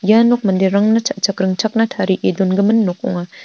ia nok manderangna cha·chak ringchakna tarie dongimin nok ong·a.